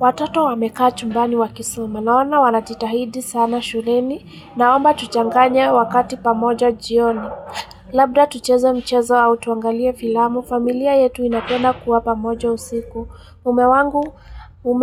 Watoto wamekaa chumbani wakisoma. Naona wanajitahidi sana shuleni naomba tuchanganye wakati pamoja jioni. Labda tucheze mchezo au tuangalie filamu. Familia yetu inapenda kuwa pamoja usiku. Mume